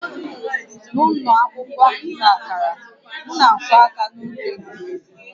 N'ụlọ akwụkwọ nta akara, m na-akụ aka n'oge egwuregwu